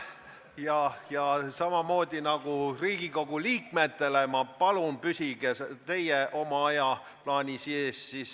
Ma palun teid samamoodi nagu Riigikogu liikmeid, püsige aja raamides.